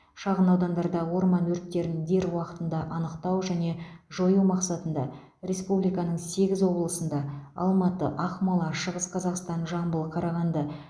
шағын ауданда орман өрттерін дер уақытында анықтау және жою мақсатында республиканың сегіз облысында алматы ақмола шығыс қазақстан жамбыл қарағанды